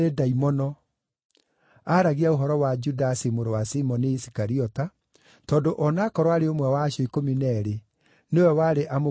(Aaragia ũhoro wa Judasi mũrũ wa Simoni Isikariota, tondũ o na aakorwo aarĩ ũmwe wa acio ikũmi na eerĩ, nĩwe warĩ amũkunyanĩre thuutha ũcio.)